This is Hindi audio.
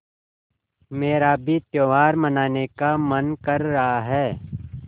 मेरा भी त्यौहार मनाने का मन कर रहा है